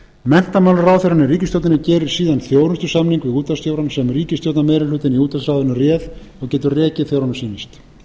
í ríkisstjórninni gerir síðan þjónustusamning við útvarpsstjórann sem ríkisstjórnarmeirihlutinn í útvarpsráðinu réð og getur rekið þegar honum sýnist